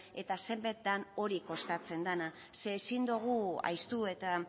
eta zenbat da kostatzen dena ezin dugu ahaztu eta